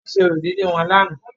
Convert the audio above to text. Wọ́n ṣe orò ìdílé wọn lánàá.